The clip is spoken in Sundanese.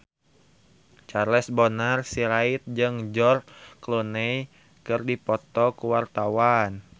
Charles Bonar Sirait jeung George Clooney keur dipoto ku wartawan